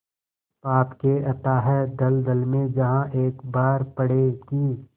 पाप के अथाह दलदल में जहाँ एक बार पड़े कि